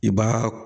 I b'a